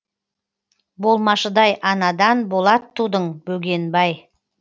болмашыдай анадан болат тудың бөгенбай